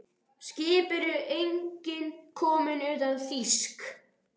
Skip eru engin komin utan þýsk.